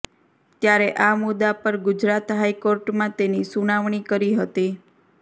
ત્યારે આ મુદ્દા પર ગુજરાત હાઈકોર્ટમાં તેની સુનાવણી કરી હતી